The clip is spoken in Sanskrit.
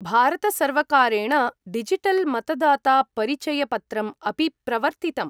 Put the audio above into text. भारतसर्वकारेण डिजिटल् मतदातापरिचयपत्रम् अपि प्रवर्तितम्।